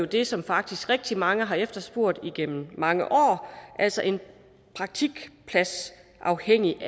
det som faktisk rigtig mange har efterspurgt igennem mange år altså et praktikpladsafhængigt